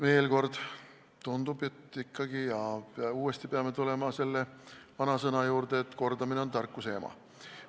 Veel kord, tundub, et peame ikkagi uuesti tulema selle vanasõna juurde, et "kordamine on tarkuse ema".